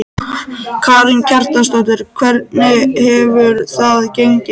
Karen Kjartansdóttir: Hvernig hefur það gengið?